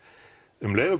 um leið og